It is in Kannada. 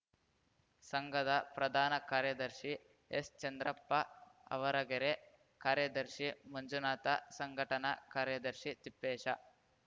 ಸಂಘದ ಪ್ರಧಾನ ಕಾರ್ಯದರ್ಶಿ ಎಸ್‌ಚಂದ್ರಪ್ಪ ಆವರಗೆರೆ ಕಾರ್ಯದರ್ಶಿ ಮಂಜುನಾಥ ಸಂಘಟನಾ ಕಾರ್ಯದರ್ಶಿ ತಿಪ್ಪೇಶ